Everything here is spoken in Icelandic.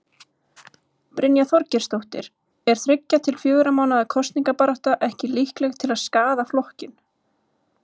Brynja Þorgeirsdóttir: Er þriggja til fjögurra mánaða kosningabarátta ekki líkleg til að skaða flokkinn?